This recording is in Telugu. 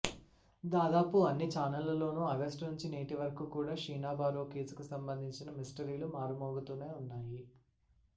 దాదాపు అన్ని చానళ్లలోనూ ఆగస్టునుంచి నేటి వరకూ కూడా షీనాబోరా కేసుకు సంబంధించిన మిస్టీరీలు మారుమోగుతూనే ఉన్నాయి